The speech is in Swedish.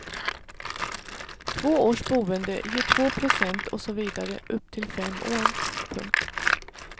Två års boende ger två procent och så vidare upp till fem år. punkt